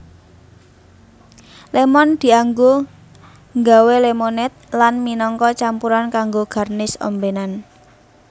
Lémon dianggo ngganwé lemonade lan minangka campuran kanggo garnish ombénan